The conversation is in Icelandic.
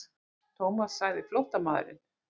Thomas sagði flóttamaðurinn.